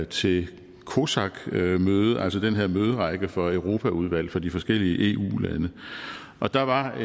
til cosac møde altså den her møderække for europaudvalg fra de forskellige eu lande og der var